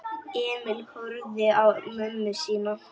Emil horfði á mömmu sína.